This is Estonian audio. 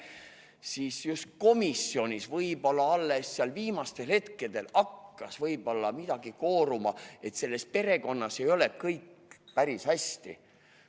Ja selles komisjonis võib-olla alles viimastel hetkedel hakkas välja kooruma, et selles perekonnas ei ole kõik päris hästi.